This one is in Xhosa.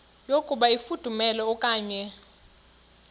yokuba ifudumele okanye